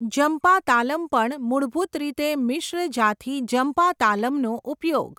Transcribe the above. જંપા તાલમ પણ મૂળભૂત રીતે મિશ્ર જાથી જંપા તાલમનો ઉપયોગ.